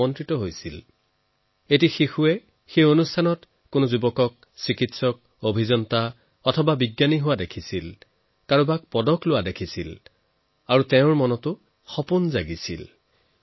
এগৰাকী কনমানি শিশুৱে যেতিয়া এই বিৰাট সমাৰোহত কোনোৱাজনক চিকিৎসক কোনোৱাজন ইঞ্জিনিয়াৰ বিজ্ঞানী হোৱা দেখিব কোনোবাই পদক পোৱা দেখিব তেতিয়া তাৰ মনতো নতুন সপোন জাগি উঠিব